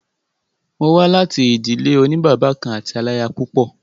Mo wà láti ìdílé òní bàbá kan àti aláyapúpọ̀.